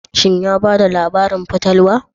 Shin ya ba da labarin fatalwa?